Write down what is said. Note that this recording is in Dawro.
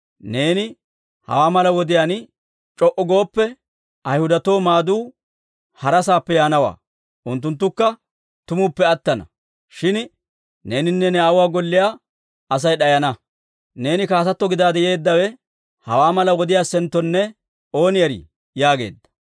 Neeni hawaa mala wodiyaan c'o"u gooppe, Ayhudatoo maaduu hara saappe yaanawaa. Unttunttukka tumuppe attana; shin neeninne ne aawuwaa golliyaa Asay d'ayana. Neeni kaatato gidaade yeeddawe hawaa mala wodiyaassenttonne ooni erii?» yaageedda.